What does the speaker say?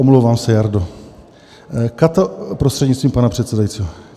Omlouvám se, Jardo, prostřednictvím pana předsedajícího.